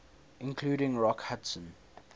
including rock hudson